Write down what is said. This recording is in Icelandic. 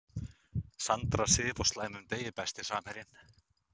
Sandra Sif á slæmum degi Besti samherjinn?